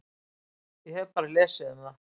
Ég hef bara lesið um það.